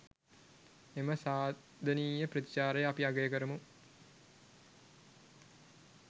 එම සාධනීය ප්‍රතිචාරය අපි අගය කරමු.